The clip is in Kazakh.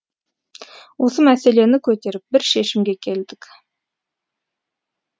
осы мәселені көтеріп бір шешімге келдік